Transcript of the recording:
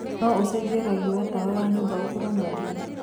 no ũcenjĩe rangĩ wa tawa wa nyũmba ũkorwo na ndũma